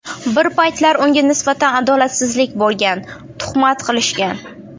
Bir paytlar unga nisbatan adolatsizlik bo‘lgan, tuhmat qilishgan.